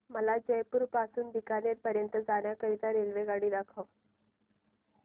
मला जयपुर पासून ते बीकानेर पर्यंत जाण्या करीता रेल्वेगाडी दाखवा